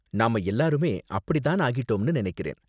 நாம எல்லாருமே அப்படி தான் ஆகிட்டோம்னு நினைக்கிறேன்.